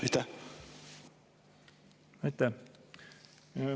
Aitäh!